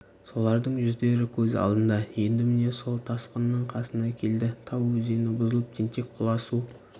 солардың жүздері көз алдында енді міне сол тасқынның қасына келді тау өзені бұзылып тентек құла су